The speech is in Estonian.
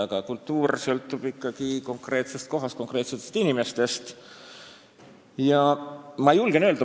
Aga kultuur sõltub ikkagi konkreetsest kohast, konkreetsetest inimestest ja konkreetsetest kogudest.